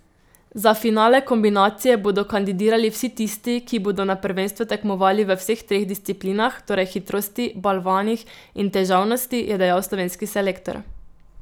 Za finale kombinacije bodo kandidirali vsi tisti, ki bodo na prvenstvu tekmovali v vseh treh disciplinah, torej hitrosti, balvanih in težavnosti, je dejal slovenski selektor.